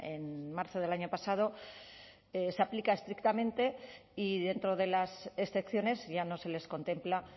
en marzo del año pasado se aplica estrictamente y dentro de las excepciones ya no se les contempla